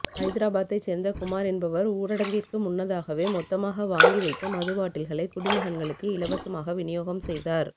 ஐதராபாத்தை சேர்ந்த குமார் என்பவர் ஊரடங்கிற்கு முன்னதாகவே மொத்தமாக வாங்கி வைத்த மதுபாட்டில்களை குடிமகன்களுக்கு இலவசமாக விநியோகம் செய்தார்